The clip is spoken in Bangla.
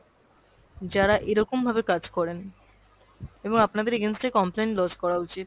যারা এরকম ভাবে কাজ করেন। এবং আপনাদের against এ complain lodge করা উচিত।